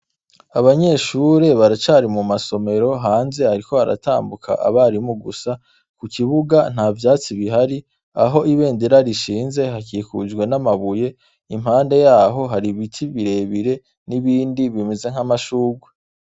Abanyeshure baracari mu Masomero hanze hariko Haratambuka Abarimu gusa, ku kibuga nta vyatsi bihari aho ibendera rishinze hakikujwe n'amabuye, impande yaho hari ibiti birebire, n'ibindi bimeze nk'amashurwe.